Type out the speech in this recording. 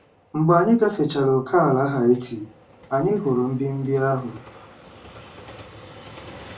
Mgbe anyị gafechara ókèala Haiti, anyị hụrụ mbibi ahụ.